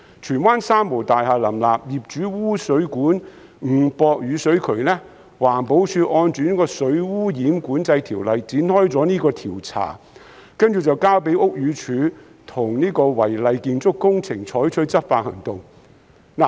荃灣"三無大廈"林立，業主把污水管誤駁雨水渠，環保署按照《水污染管制條例》展開調查，然後交由屋宇署對違例建築工程採取執法行動。